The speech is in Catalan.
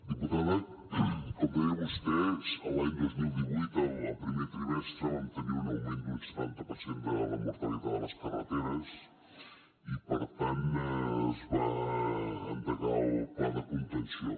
diputada com deia vostè a l’any dos mil divuit al primer trimestre vam tenir un augment d’un setanta per cent de la mortalitat a les carreteres i per tant es va endegar el pla de contenció